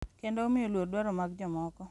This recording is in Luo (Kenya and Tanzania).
Kendo omiyo luor dwaro mag jomoko.